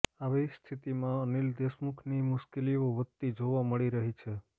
આવી સ્થિતિમાં અનિલ દેશમુખની મુશ્કેલીઓ વધતી જોવા મળી રહી છે